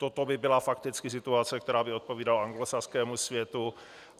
Toto by byla fakticky situace, která by odpovídala anglosaskému světu.